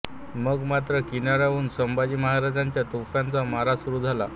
मग मात्र किनाऱ्यावरून संभाजी महाराजांच्या तोफांचा मारा सुरू झाल्या